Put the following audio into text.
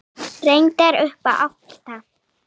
Reyndar allt upp í átta.